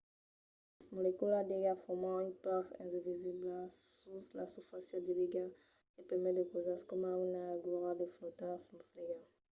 las moleculas d’aiga forman una pèl invisibla sus la susfàcia de l’aiga que permet a de causas coma una agulha de flotar sus l’aiga